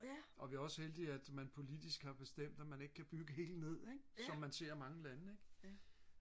og vi er også heldige at man politisk har bestemt at man ikke kan bygge helt ned ikke som man ser i mange lande ikke